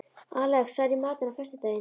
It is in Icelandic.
Alex, hvað er í matinn á föstudaginn?